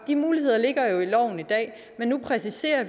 de muligheder ligger jo i loven i dag men nu præciserer og